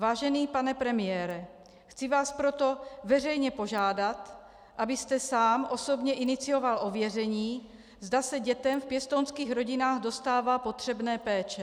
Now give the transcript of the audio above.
Vážený pane premiére, chci vás proto veřejně požádat, abyste sám osobně inicioval ověření, zda se dětem v pěstounských rodinách dostává potřebné péče.